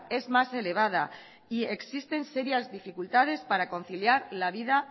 es más elevada y existen serias dificultades para conciliar la vida